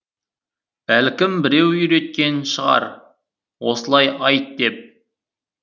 бәлкім біреу үйреткен шығар осылай айт деп